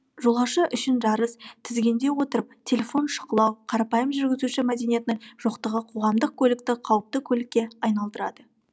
жолаушы үшін жарыс тізгінде отырып телефон шұқылау қарапайым жүргізуші мәдениетінің жоқтығы қоғамдық көлікті қауіпті көлікке айналдырады